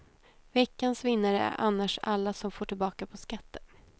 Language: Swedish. Veckans vinnare är annars alla som får tillbaka på skatten.